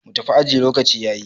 mu tafi aji lokaci ya yi!